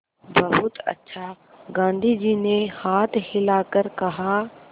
बहुत अच्छा गाँधी जी ने हाथ हिलाकर कहा